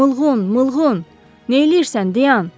Mılğun, Mılğun, neyləyirsən, dayan!